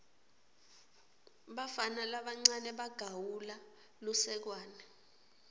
bafana labancane bagawula lusekwane